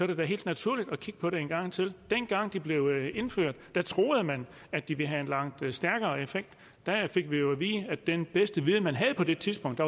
det da helt naturligt at kigge på det en gang til dengang det blev indført troede man at det vil have en langt stærkere effekt der fik vi jo at vide af den bedste viden man havde på det tidspunkt